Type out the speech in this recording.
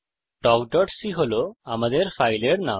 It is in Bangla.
talkসি হল আমাদের ফাইলের নাম